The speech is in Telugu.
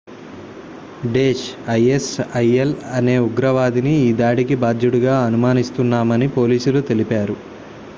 daesh isil అనే ఉగ్రవాదిని ఈ దాడికి బాధ్యుడిగా అనుమానిస్తున్నామని పోలీసులు తెలిపారు